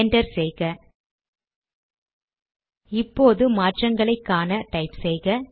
enter செய்க இப்போது மாற்றங்களை காண டைப் செய்க